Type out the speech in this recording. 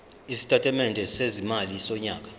isitatimende sezimali sonyaka